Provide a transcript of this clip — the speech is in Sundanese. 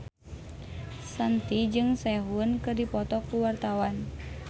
Shanti jeung Sehun keur dipoto ku wartawan